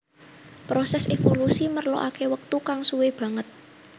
Prosès évolusi merlokaké wektu kang suwé banget